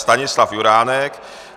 Stanislav Juránek.